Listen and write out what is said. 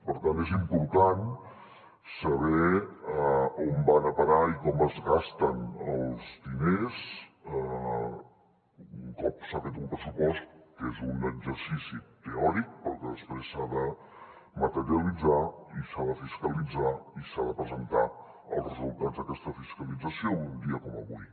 per tant és important saber a on van a parar i com es gasten els diners un cop s’ha fet un pressupost que és un exercici teòric però que després s’ha de materialitzar i s’ha de fiscalitzar i s’han de presentar els resultats d’aquesta fiscalització en un dia com avui